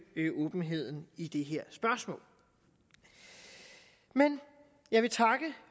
åbenheden i det her spørgsmål men jeg vil takke